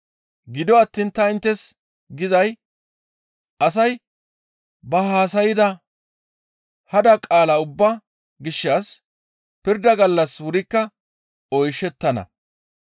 Gido attiin ta inttes gizay asay ba haasayda hada qaala ubbaa gishshas pirda gallas wurikka oyshettana.